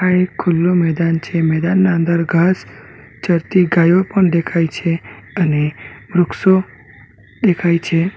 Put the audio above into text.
આ એક ખુલ્લો મેદાન છે મેદાનના અંદર ઘાસ ચરતી ગાયો પણ દેખાય છે અને વૃક્ષો દેખાય છે.